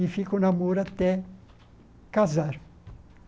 E fica o namoro até casar.